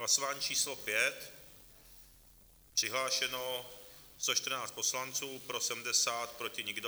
Hlasování číslo 5, přihlášeno 114 poslanců, pro 70, proti nikdo.